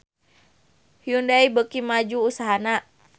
Hyundai beuki maju usahana